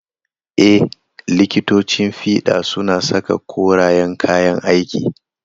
Ee, likitocin fiɗa suna saka koreyan kayan aiki.